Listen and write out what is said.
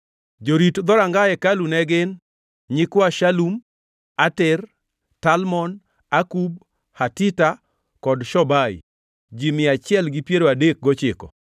Jorit dhoranga hekalu ne gin: Nyikwa Shalum, Ater, Talmon, Akub, Hatita kod Shobai, ji mia achiel gi piero adek gochiko (139).